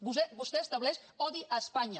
vostè estableix odi a espanya